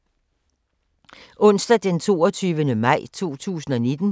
Onsdag d. 22. maj 2019